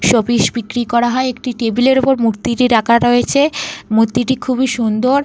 Showpiece বিক্রি করা হয়। একটি টেবিল এর ওপর মূর্তিটি রাখা রয়েছে। মূর্তিটি খুবই সুন্দর।